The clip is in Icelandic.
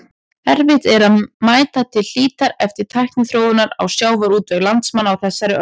Erfitt er að meta til hlítar áhrif tækniþróunar á sjávarútveg landsmanna á þessari öld.